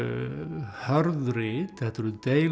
hörð rit þetta eru